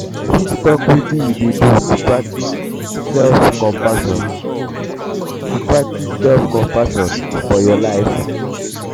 you fit talk wetin you dey do to practice self-compassion to practice self-compassion for your life?